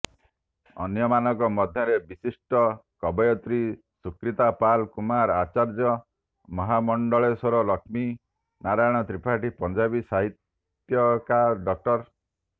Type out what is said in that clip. ଅନ୍ୟମାନଙ୍କ ମଧ୍ୟରେ ବିିଶିଷ୍ଟ କବୟତ୍ରୀ ସୁକ୍ରିତା ପଲ୍ କୁମାର ଆଚାର୍ଯ୍ୟ ମହାମଣ୍ଡଳେଶ୍ୱର ଲକ୍ଷ୍ମୀ ନାରାୟଣ ତ୍ରିପାଠୀ ପଞ୍ଜାବୀ ସାହିତ୍ୟିକା ଡ